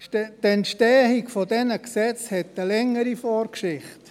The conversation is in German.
Die Entstehung dieser Gesetze hat eine längere Vorgeschichte.